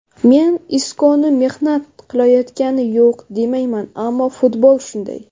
Men Iskoni mehnat qilayotgani yo‘q demayman, ammo futbol shunday.